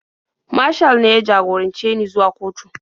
Mashal ne ya jagorance ni zuwa kotu.